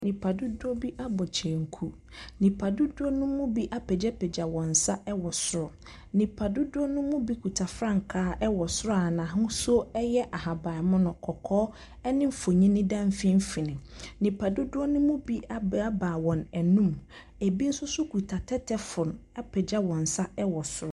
Nipadodoɔ bi abɔ kyenku. Nipadodoɔ no mu bi apagyapagya wɔn nsa wɔ soro. Nipadodoɔ no mu bi kita frankaa wɔ soro a n'ahosuo yɛ ahabammono, kɔkɔɔ ne mfonin da mfimfini. Nipadodoɔ no mu bi abaabaa wɔn anum. Ɛbi nso so kuta tɛtɛfoon apagya wɔn nsa wɔ soro.